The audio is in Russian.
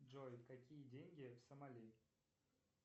джой какие деньги в самали